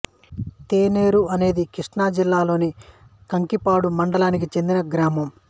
తెన్నేరు అనేది కృష్ణా జిల్లా లోని కంకిపాడు మండలానికి చెందిన గ్రామం